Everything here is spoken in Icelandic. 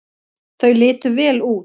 Þau litu vel út.